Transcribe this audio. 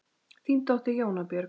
Þín dóttir, Jóna Björg.